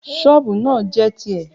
ṣọọbu naa jẹ ti ẹ̀.